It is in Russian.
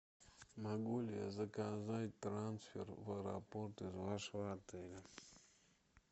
могу ли я заказать трансфер в аэропорт из вашего отеля